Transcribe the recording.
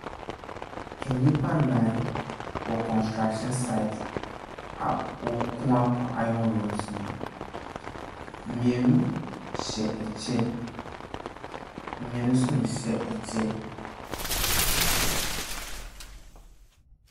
Nnipa nnan wɔ kɔnstrakhyin saet a wɔkoa ayɔn rɔds mu. Mmienu hyɛ ɛkyɛ, mmienu nso nhyɛ ɛkyɛ.